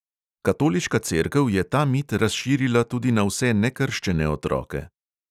Katoliška cerkev je ta mit razširila tudi na vse nekrščene otroke.